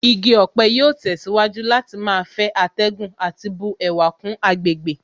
Igi ọ̀pẹ yóò tẹ̀síwájú láti máa fẹ́ atẹ́gùn àti bu ẹwà kún àgbègbè